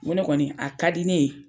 N ko ne kɔni a ka di ne ye.